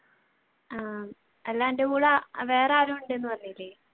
ആഹ് അല്ല അന്റെ കൂടെ വേറെയാരോ ഉണ്ടെന്ന് പറഞ്ഞില്ലേ?